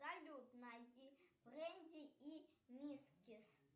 салют найди бренди и мискис